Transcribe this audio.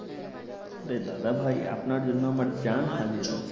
আরে দাদা ভাই আপনার জন্য আমার জান হাজির আছে